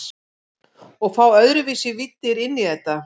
Og fá öðruvísi víddir inn í þetta.